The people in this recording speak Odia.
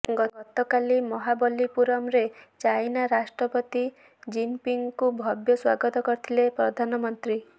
ଗତକାଲି ମହାବଲ୍ଲୀପୁରମରେ ଚାଇନା ରାଷ୍ଟ୍ରପତି ଜିନପିଙ୍ଗଙ୍କୁ ଭବ୍ୟ ସ୍ୱାଗତ କରିଥିଲେ ପ୍ରଧାନମନ୍ତ୍ରୀ